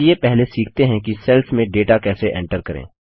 चलिए पहले सीखते हैं कि सेल्स में डेटा कैसे एन्टर करें